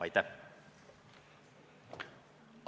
Aitäh!